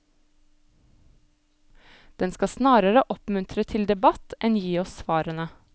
Den skal snarere oppmuntre til debatt enn gi oss svarene.